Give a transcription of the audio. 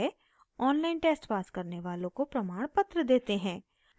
online test pass करने वालों को प्रमाणपत्र देते हैं